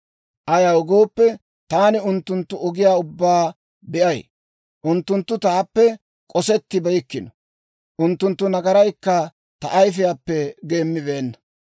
Ayaw gooppe, taani unttunttu ogiyaa ubbaa be'ay. Unttunttu taappe k'osettibeykkino; unttunttu nagaraykka ta ayifiyaappe geemmibeenna.